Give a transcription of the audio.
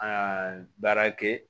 Aa baarakɛ